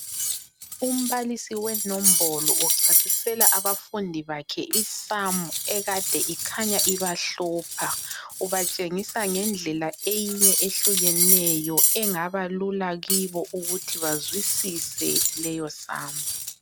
Umbalisi wenombolo uchasisela abafundi bakhe isamu ekade ikhanya ibahlupha. Ubatshengisa ngendlela eyinye ehlukeneyo engaba lula kibo ukuthi bazwisise leyo samu.